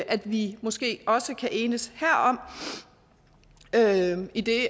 at vi måske også kan enes herom idet